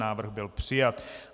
Návrh byl přijat.